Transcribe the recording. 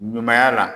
Ɲumanya la